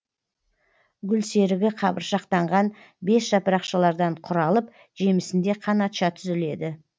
гүлсерігі қабыршақтанған бес жапырақшалардан құралып жемісінде қанатша түзіледі